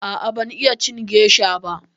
A'a ban iya cin gesha ba.